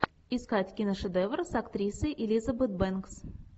искать киношедевр с актрисой элизабет бэнкс